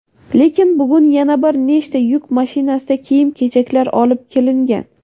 Lekin bugun yana bir nechta yuk mashinasida kiyim-kechaklar olib kelingan.